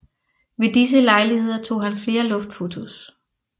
Ved disse lejligheder tog han flere luftfotos